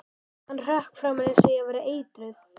Hann hrökk frá mér eins og ég væri eitruð sagði